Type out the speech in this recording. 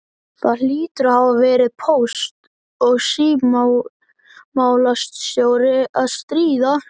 Það hlýtur að hafa verið póst- og símamálastjóri að stríða!